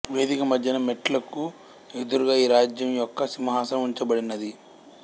వేదిక మధ్యన మెట్లక్కు ఎదురుగా ఈ రాజ్యం యొక్క సింహాసనం ఉంచబడినది